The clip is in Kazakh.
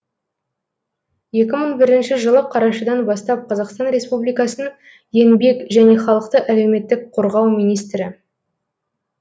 екі мың бірінші жылы қарашадан бастап қазақстан республикасының еңбек және халықты әлеуметтік қорғау министрі